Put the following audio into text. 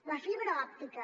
la fibra òptica